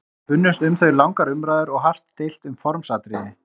Spunnust um þau langar umræður og hart deilt um formsatriði.